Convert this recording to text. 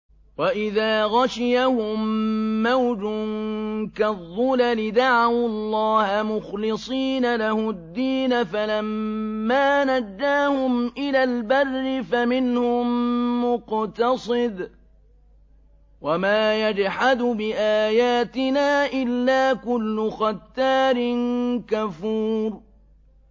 وَإِذَا غَشِيَهُم مَّوْجٌ كَالظُّلَلِ دَعَوُا اللَّهَ مُخْلِصِينَ لَهُ الدِّينَ فَلَمَّا نَجَّاهُمْ إِلَى الْبَرِّ فَمِنْهُم مُّقْتَصِدٌ ۚ وَمَا يَجْحَدُ بِآيَاتِنَا إِلَّا كُلُّ خَتَّارٍ كَفُورٍ